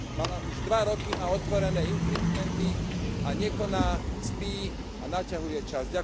Mala už dva roky na otvorené infringementy a nekoná, spí a naťahuje čas.